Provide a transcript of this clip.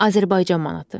Azərbaycan manatı.